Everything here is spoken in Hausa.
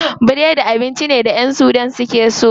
Biredi abinci ne da ƴan sudan suke so.